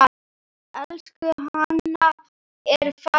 Elsku Hanna er farin heim.